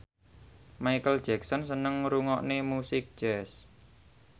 Micheal Jackson seneng ngrungokne musik jazz